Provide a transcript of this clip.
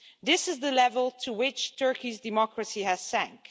This is the level to which Turkey's democracy has sunk.